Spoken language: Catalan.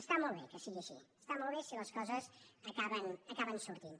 està molt bé que sigui així està molt bé si les coses acaben sortint